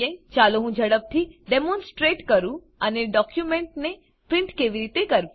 ચાલો હું ઝડપથી ડેમોનસ્ટ્રેટ કરું અને ડોક્યુંમેંટને પ્રીંટ કેવી રીતે કરવું